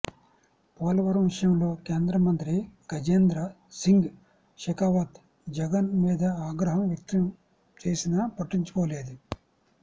పోలవరం విషయంలో కేంద్రమంత్రి గజేంద్ర సింగ్ షెకావత్ జగన్ మీద ఆగ్రహం వ్యక్తం చేసినా పట్టించుకోలేదు